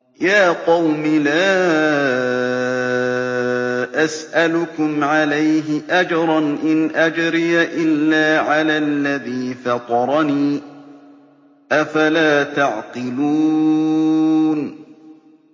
يَا قَوْمِ لَا أَسْأَلُكُمْ عَلَيْهِ أَجْرًا ۖ إِنْ أَجْرِيَ إِلَّا عَلَى الَّذِي فَطَرَنِي ۚ أَفَلَا تَعْقِلُونَ